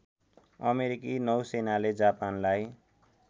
अमेरिकी नौसेनाले जापानलाई